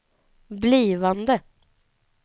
blivande